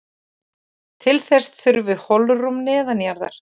Til þess þurfi holrúm neðanjarðar.